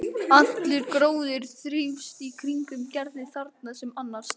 Allur gróður þrífst í kringum Gerði þarna sem annars staðar.